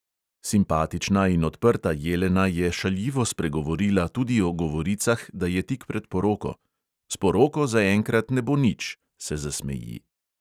Simpatična in odprta jelena je šaljivo spregovorila tudi o govoricah, da je tik pred poroko: "s poroko zaenkrat ne bo nič," se zasmeji.